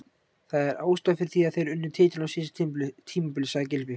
Það er ástæðan fyrir því að þeir unnu titilinn á síðasta tímabili, sagði Gylfi.